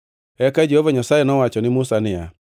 Eka Jehova Nyasaye nowacho ne Musa niya,